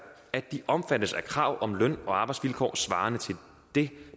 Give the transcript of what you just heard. at de omfattes af krav om løn og arbejdsvilkår svarende til det